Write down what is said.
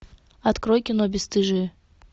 открой кино бесстыжие